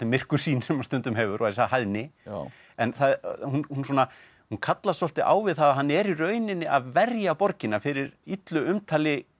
myrku sýn sem hann stundum hefur og þessa hæðni en hún kallast svolítið á við það að hann er í rauninni að verja borgina fyrir illu umtali